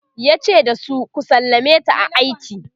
yace da su"ku sallameta a aiki!"